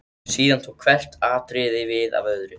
Síðan tók hvert atriðið við af öðru.